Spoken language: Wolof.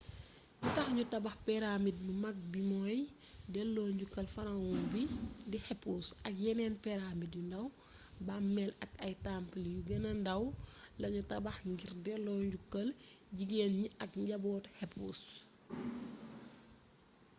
li tax ñu tabax pyramide bu mag bi mooy delloo njukkal pharaon bii di khéops ak yeneen pyramide yu ndaw bàmmeel ak ay temple yu gëna ndaw lañu tabax ngir delloo njukkal jgéen ñi ak njabootu khéops